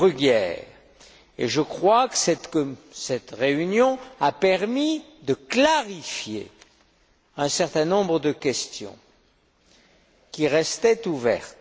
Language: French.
Bruguière. Je crois que cette réunion a permis de clarifier un certain nombre de questions qui restaient ouvertes.